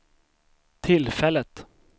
tillfället